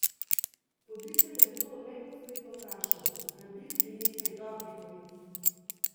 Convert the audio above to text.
Voditelj je nato neposredno vprašal: "Rabili bi nekaj dobrih novic.